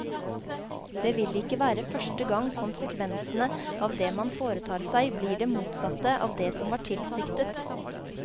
Det vil ikke være første gang konsekvensene av det man foretar seg blir det motsatte av det som var tilsiktet.